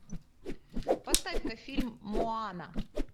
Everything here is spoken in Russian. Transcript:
поставь ка фильм моана